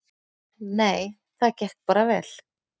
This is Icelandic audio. Nei, það gekk bara vel.